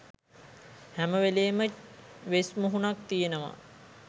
හැම වෙලේම වෙස් මුහුණක් තියෙනවා.